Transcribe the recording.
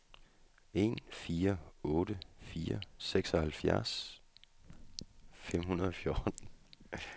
en fire otte fire seksoghalvtreds fem hundrede og fjorten